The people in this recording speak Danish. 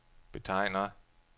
betegner